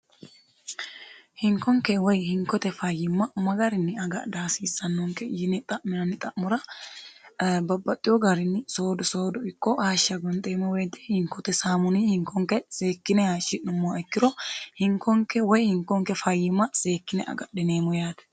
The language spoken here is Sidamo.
hinkonke woy hinkote fayyimma may garinni agadhi hasiissannonke yine xa'minanni xa'mura babbaxxiyo garinni soodu soodu ikko hashsha gonxeemmo weeti hinkote saamuni hinkonke zeekkine hashi'nommoha ikkiro hinkonke woy hinkonke fayyimma seekkine agadhineemmo yaate